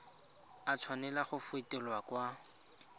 a tshwanela go fetolwa kwa